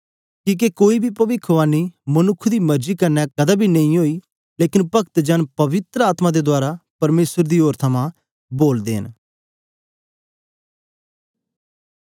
कीहके कोई बी पविखवाणी मनुक्ख दी मरजी कन्ने कदें बी नेईं ओई लेकन भक्त जन पवित्र आत्मा दे रहें उभारे जाईयै परमेसर दी ओर च बोलदे हे